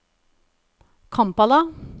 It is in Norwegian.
Kampala